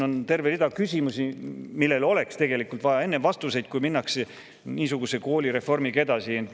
On terve rida küsimusi, millele oleks vaja vastuseid enne, kui niisuguse koolireformiga edasi minnakse.